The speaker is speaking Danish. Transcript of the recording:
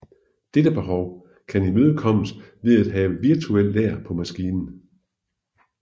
Dette behov kan imødekommes ved at have virtuelt lager på maskinen